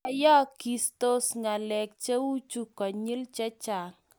yayagistos ngalek cheuchu konyil chachang